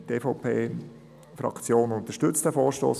Die EVP-Fraktion unterstützt diesen Vorstoss.